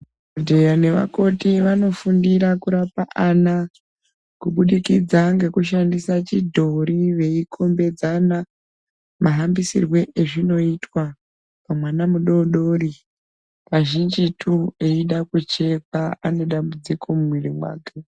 Madhokoteya nevakoti vanofundira kurapa ana kubudikidza nekushandisa fhidhori veikombedzana mahanbisiro azvinoitwa pamwana mudodori. Kazhinjitu eida kuchekwa ,anedambudziko mumuwiri mwake.